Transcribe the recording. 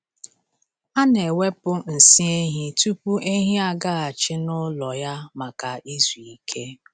A na-ewepụ nsị ehi tupu ehi agaghachi n’ụlọ ya maka izu ike.